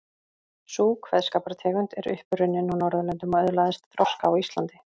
Sú kveðskapartegund er upp runnin á Norðurlöndum og öðlaðist þroska á Íslandi.